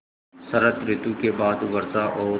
शरत ॠतु के बाद वर्षा और